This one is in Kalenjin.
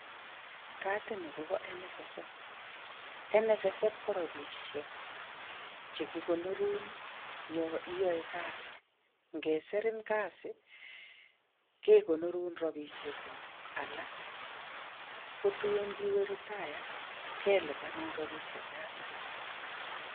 Kaatini kobo NSSF. NSSF ko robishek che kigonorun ya iyae. kasi. Ngesirin kasi kegonorun robishekuk alak. Ko tuun ngiwe retire kelipanun robishe choto.